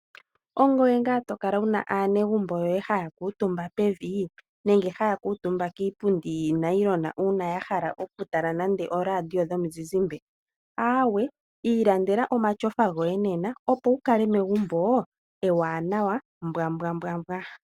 Ongoye ngaa to kala wuna aanegumbo yoye haya kuutumba pevi? Nenge haya kuutumba kiipundi yinayilona uuna ya hala nande oku tala oradio yomuzizimbe? Aawe ilandela omashofa goye nena opo wu kale megumbo ewanawa mbwambwambwa.